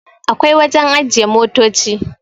akwai wajen ajiye motoci